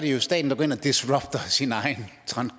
jo staten der går ind og disrupter sin egen